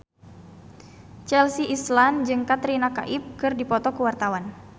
Chelsea Islan jeung Katrina Kaif keur dipoto ku wartawan